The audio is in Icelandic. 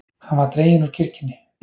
Hann var dreginn úr kirkjunni.